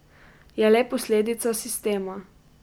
Je le posledica sistema.